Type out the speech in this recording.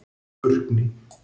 Burkni